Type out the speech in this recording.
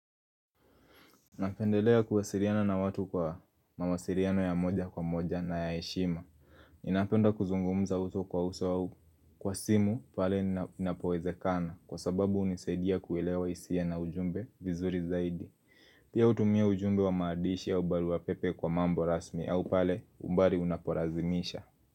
Napendelea kuwasiliana na watu kwa mawasiliano ya moja kwa moja na ya heshima. Ninapenda kuzungumza uso kwa uso kwa simu pale inapowezekana kwa sababu unisadia kuilewa hisia na ujumbe vizuri zaidi. Pia utumia ujumbe wa maandishi au barua pepe kwa mambo rasmi au pale umbali unapolazimisha.